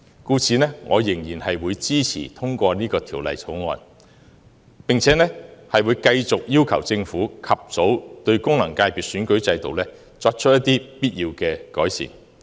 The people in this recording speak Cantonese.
故此，我仍然支持通過《條例草案》，並會繼續要求政府及早對功能界別選舉制度作出必要的改善。